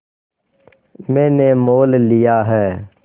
मैंने मोल लिया है